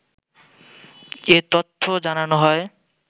এ তথ্য জানানো হয়।